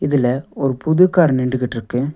இதுல ஒரு புது கார் நின்னுடுகிட்டுருக்கு.